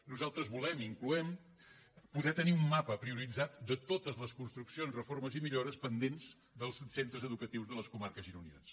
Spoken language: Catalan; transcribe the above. nosaltres volem i incloem poder tenir un mapa prioritzat de totes les construccions reformes i millores pendents dels centres educatius de les comarques gironines